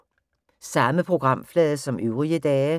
Samme programflade som øvrige dage